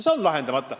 See on lahendamata.